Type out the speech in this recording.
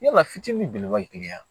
Yala fitinin belebeleba ye wa